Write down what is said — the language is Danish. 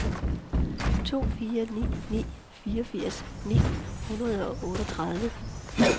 to fire ni ni fireogfirs ni hundrede og otteogtredive